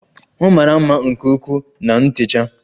Ọ mara mma nke ukwuu na ntecha